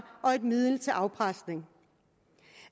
og et middel til afpresning